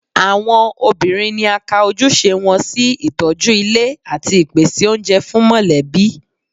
Àwọn obìnrin ni a ka ojúṣe wọn sí ìtọ́jú ilé àti ìpèsè oúnjẹ fún mọ̀lẹ́bí